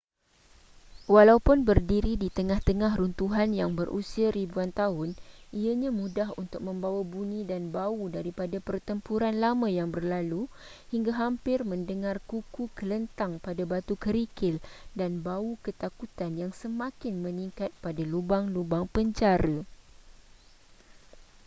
walaupun berdiri di tengah-tengah runtuhan yang berusia ribuan tahun ianya mudah untuk membawa bunyi dan bau daripada pertempuran lama yang berlalu hingga hampir mendengar kuku kelentang pada batu kerikil dan bau ketakutan yang semakin meningkat pada lubang-lubang penjara